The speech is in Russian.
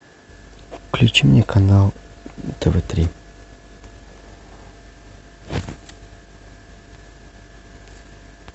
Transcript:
включи мне канал тв три